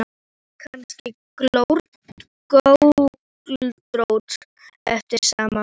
Var hún kannski göldrótt eftir allt saman?